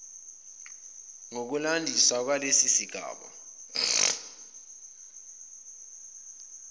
ngokulandisa kwalesi sigaba